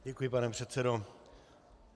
Děkuji, pane předsedo.